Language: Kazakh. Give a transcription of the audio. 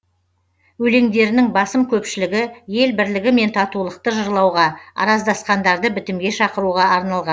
өлеңдерінің басым көпшілігі ел бірлігі мен татулықты жырлауға араздасқандарды бітімге шақыруға арналған